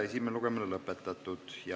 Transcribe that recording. Esimene lugemine on lõpetatud.